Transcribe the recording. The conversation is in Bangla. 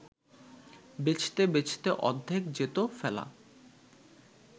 বেচতে বেচতে অর্ধেক যেত ফেলা